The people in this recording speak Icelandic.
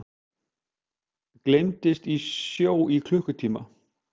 Gleymdust í sjó í klukkutíma